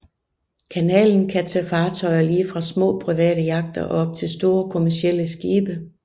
Kanalen kan tage fartøjer lige fra små private yachter og op til store kommercielle skibe